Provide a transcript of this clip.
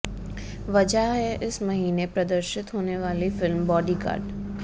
वजह है इस महीने प्रदर्शित होने वाली फिल्म बॉडीगार्ड